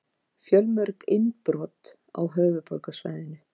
Fjölmörg innbrot á höfuðborgarsvæðinu